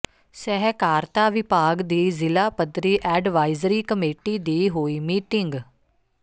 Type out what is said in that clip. ਸਹਿਕਾਰਤਾ ਵਿਭਾਗ ਦੀ ਜ਼ਿਲ੍ਹਾ ਪੱਧਰੀ ਐਡਵਾਈਜ਼ਰੀ ਕਮੇਟੀ ਦੀ ਹੋਈ ਮੀਟਿੰਗ